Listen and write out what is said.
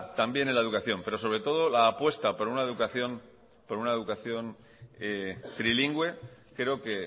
también en la educación pero sobre todo la apuesta por una educación por una educación trilingüe creo que